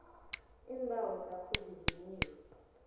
iimbawo zakho zivunyiwe